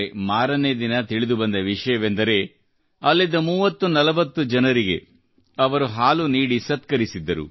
ಮಾರನೇ ದಿನ ತಿಳಿದುಬಂದ ವಿಷಯವೆಂದರೆ ಅಲ್ಲಿದ್ದ 30 ಜನರಿಗೆಲ್ಲರಿಗೂ ಅವರು ಅರಿಶಿನ ಬೆರೆಸಿದ ಹಾಲು ನೀಡಿ ಸತ್ಕರಿಸಿದ್ದರು